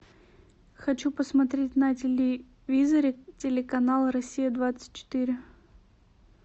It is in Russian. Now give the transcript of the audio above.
хочу посмотреть на телевизоре телеканал россия двадцать четыре